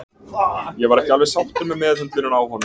Ég var ekki alveg sáttur með meðhöndlunina á honum.